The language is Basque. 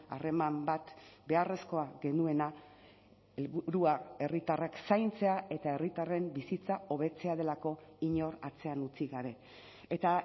harreman bat beharrezkoa genuena helburua herritarrek zaintzea eta herritarren bizitza hobetzea delako inor atzean utzi gabe eta